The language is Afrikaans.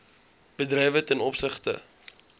bedrywe ten opsigte